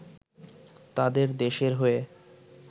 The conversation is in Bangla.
তাদের দেশের হয়ে